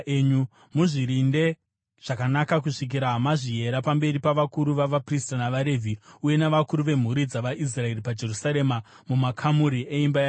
Muzvirinde zvakanaka kusvikira mazviyera pamberi pavakuru vavaprista navaRevhi uye navakuru vemhuri dzavaIsraeri paJerusarema mumakamuri eimba yaJehovha.”